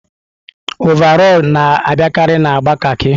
ọvarọọr na-abịakarị na agba kaki.